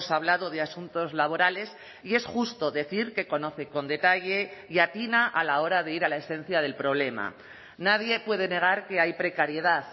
hablado de asuntos laborales y es justo decir que conoce con detalle y atina a la hora de ir a la esencia del problema nadie puede negar que hay precariedad